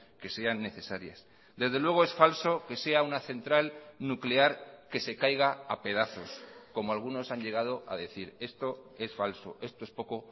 que sean necesarias desde luego es falso que sea una central nuclear que se caiga a pedazos como algunos han llegado a decir esto es falso esto es poco